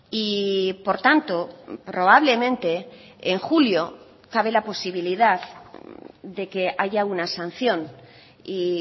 y por tanto probablemente en julio cabe la posibilidad de que haya una sanción y